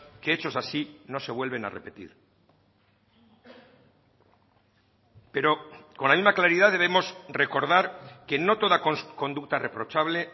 que hechos así no se vuelven a repetir pero con la misma claridad debemos recordar que no toda conducta reprochable